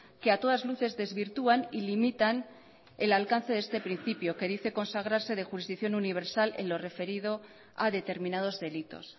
que a todas luces desvirtúan y limitan el alcance de este principio que dice consagrarse de jurisdicción universal en lo referido a determinados delitos